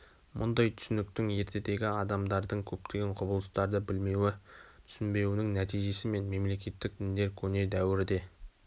мұндай түсініктің ертедегі адамдардың көптеген құбылыстарды білмеуі түсінбеуінің нәти-жесі мен мемлекеттік діндер көне дәуірде